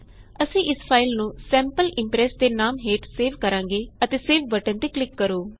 ਅਸੀਂ ਇਸ ਫਾਇਲ ਨੂੰ ਸੈਂਪਲ ਇੰਪ੍ਰੈਸ ਦੇ ਨਾਮ ਹੇਠ ਸੇਵ ਕਰਾਂਗੇ ਅਤੇ ਸੇਵ ਬਟਨ ਤੇ ਕਲਿਕ ਕਰੋ